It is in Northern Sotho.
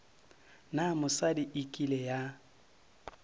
na mosadi e kile ya